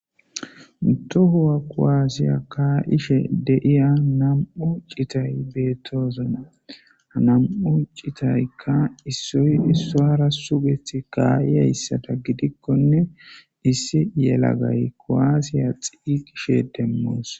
Toho kuwase ka'ishe betiya n'u citay betosona ha nam'u citayka issoy issara sugetidi ka'iyaysata gidikonne issi yelagay kuwasa xiqishin demos